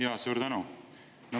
Jaa, suur tänu!